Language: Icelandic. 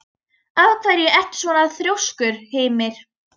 Af hverju ertu svona þrjóskur, Hymir?